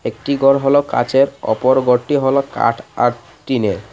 একটি ঘর হলো কাচের অপর ঘরটি হলো কাঠ আর টিনের .